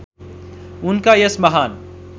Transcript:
उनका यस महान्